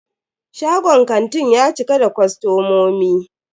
Shagon kantin ya cika da kostomomi.